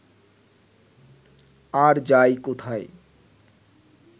আর যায় কোথায়